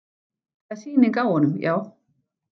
Það er sýning á honum, já.